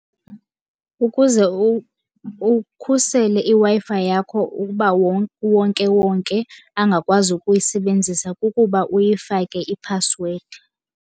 Ukuze ukhusele iWi-Fi yakho ukuba uwonkewonke angakwazi ukuyisebenzisa kukuba uyifake iphasiwedi.